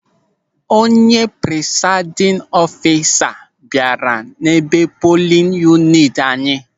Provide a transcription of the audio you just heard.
Onye prisaidin ọfisa bịara n'ebe polin yuniti anyị.